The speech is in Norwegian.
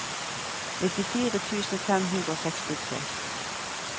nittifire tusen fem hundre og sekstitre